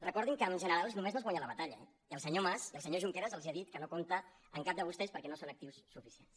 recordin que amb generals només no es guanya la batalla eh i el senyor mas i el senyor junqueras els han dit que no compten amb cap de vostès perquè no són actius suficients